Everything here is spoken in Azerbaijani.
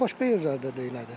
Başqa yerlərdə də elədir.